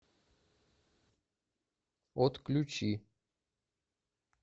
отключи